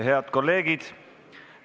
Head kolleegid!